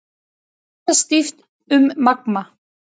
Fundað stíft um Magma